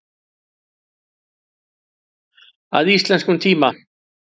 Að íslenskum tíma.